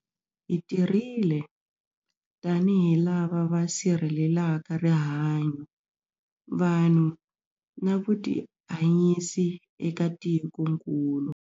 Hi tirhile tanihi lava va sirhelelaka rihanyu, vanhu na vutihanyisi eka tikokulu.